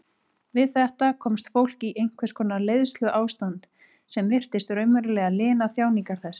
Við þetta komst fólk í einhvers konar leiðsluástand sem virtist raunverulega lina þjáningar þess.